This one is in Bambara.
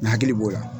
N hakili b'o la